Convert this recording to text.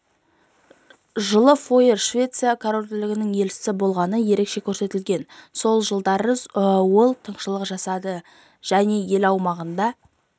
жылы фойер швеция корольдігінің елшісі болғаны ерекше көрсетілген сол жылдары ол тыңшылық жасады жәен ел аумағында